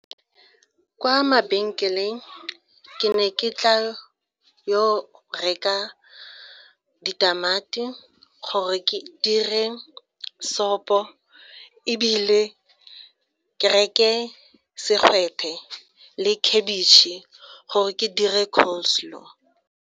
Kwa mabenkeleng ke ne ke tla yo reka ditamati gore ke dire sopo ebile ke reke segwete le khabitšhe gore ke dire coleslaw.